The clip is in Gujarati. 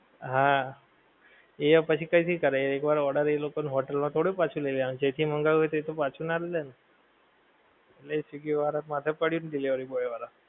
હા એ પછી કઈ થી કરે એક વાર ઓર્ડર એ લોકો નું hotel નો થોડું પાછું લઈ લેવાનું છે જે કઈ મંગાયું હોએ એ તો પાછું ના લે ને એટલે એ swiggy વાળા ને માથે પડીયું ને delivery boy વાળા